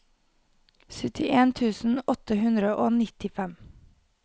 syttien tusen åtte hundre og nittifem